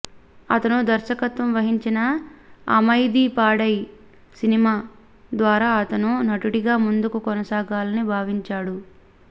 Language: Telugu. అతను దర్శకత్వం వహించిన అమైధి పాడై సినిమా ద్వారా అతను నటుడిగా ముందుకు కొనసాగాలని భావించాడు